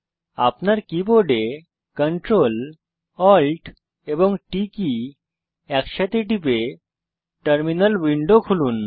আপনার কীবোর্ডে Ctrl Alt এবং T কী একসাথে টিপে টার্মিনাল উইন্ডো খুলুন